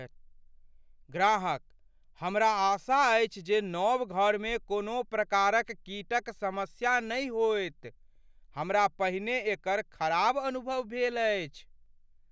ग्राहकः "हमरा आशा अछि जे नव घरमे कोनो प्रकारक कीटक समस्या नहि होयत, हमरा पहिने एकर खराब अनुभव भेल अछि।"